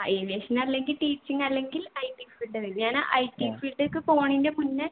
ആ aviation അല്ലെങ്കിൽ teaching അല്ലെങ്കിൽ IT field ആ ഞാനാ IT field ലേക്ക് പോണേൻ്റെ മുന്നേ